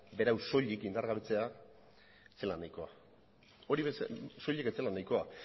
berau soilik indargabetzea ez zela nahikoa hori soilik ez zela nahikoa